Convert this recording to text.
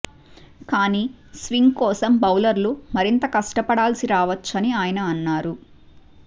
కానీ స్వింగ్ కోసం బౌలర్లు మరింత కష్టపడాల్సి రావొచ్చని ఆయన అన్నారు